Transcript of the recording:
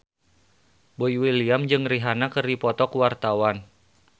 Boy William jeung Rihanna keur dipoto ku wartawan